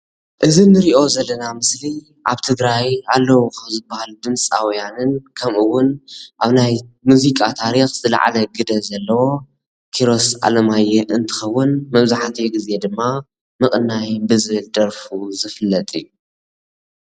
ክቡር ደ/ር ኪሮስ ኣለማዮ ካብቶም ፉሉጣት ተዘከርቲ ስነጥበበኛ ኔሩ።